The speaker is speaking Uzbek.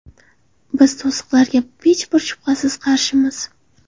Biz to‘siqlarga hech bir shubhasiz qarshimiz.